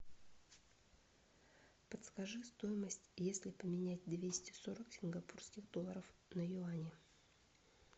подскажи стоимость если поменять двести сорок сингапурских долларов на юани